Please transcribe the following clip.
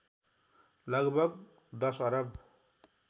लगभग १० अरब